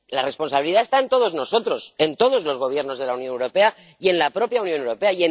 La responsabilidad está en todos nosotros, en todos los Gobiernos de la Unión Europea y en la propia Unión Europea.